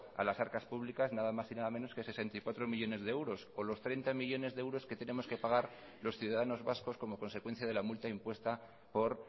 a las arcas públicas nada más y nada menos que sesenta y cuatro millónes de euros o los treinta millónes de euros que tenemos que pagar los ciudadanos vascos como consecuencia de la multa impuesta por